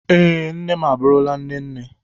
Ee, nne m abụrụla nne nne